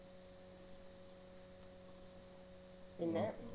പിന്നെ